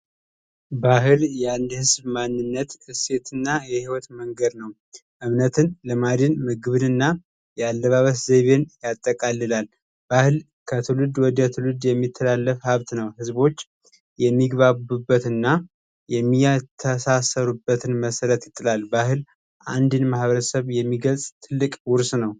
ባህል የአንድ ህዝብ ማንነት እሴት እና የህይወት መንገድ ነው። እምነትን ባህልንና ያለባበስ ዘዴን ያጠቃልላል። ባህል ከትውልዱ ወደ ትውልድ የሚተላለፍ ሀብት ነው ሰዎች የሚግባቡበትንና የሚተሳሰሩበትን መሰረት ይጥላል፤ ባህል አንድ ማህበረሰብ የሚገልጽ ትልቅ ውርስ ነው።